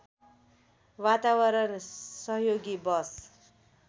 वातावरण सहयोगी बस